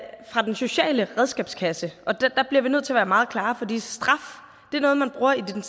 er fra den sociale redskabskasse der bliver vi nødt til at være meget klare fordi straf er noget man bruger i den